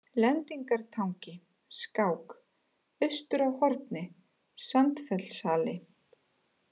Lendingartangi, Skák, Austur á Horni, Sandfellshali